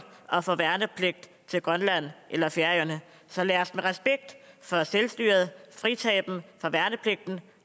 at få værnepligt til grønland eller færøerne så lad os med respekt for selvstyret fritage dem for værnepligten